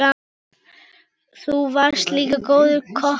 Þú varst líka góður kokkur.